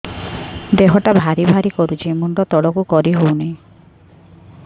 ଦେହଟା ଭାରି ଭାରି କରୁଛି ମୁଣ୍ଡ ତଳକୁ କରି ହେଉନି